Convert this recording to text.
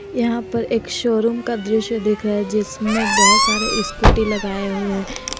यहां पर एक शोरूम का दृश्य दिख रहा है जिसमें बहुत सारे स्कूटी लगाए हुए हैं।